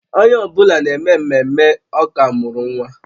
Onye ọ bụla na-eme ememme, ọ ka mụrụ nwa